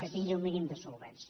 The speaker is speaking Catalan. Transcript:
que tingui un mínim de solvència